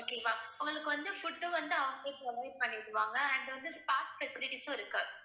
okay வா உங்களுக்கு வந்து food வந்து அவங்களே provide பண்ணிடுவாங்க and வந்து park facilities உம் இருக்கு